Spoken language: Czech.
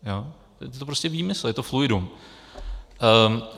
Je to prostě výmysl, je to fluidum.